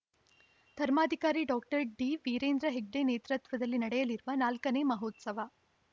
ಧರ್ಮಾಧಿಕಾರಿ ಡಾಕ್ಟರ್ ಡಿವೀರೇಂದ್ರ ಹೆಗ್ಗಡೆ ನೇತೃತ್ವದಲ್ಲಿ ನಡೆಯಲಿರುವ ನಾಲ್ಕ ನೇ ಮಹೋತ್ಸವ